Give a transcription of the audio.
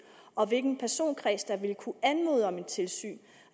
og hvilken personkreds der vil kunne anmode om et tilsyn